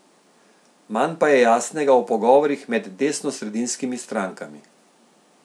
Manj pa je jasnega o pogovorih med desnosredinskimi strankami.